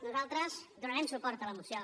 nosaltres donarem suport a la moció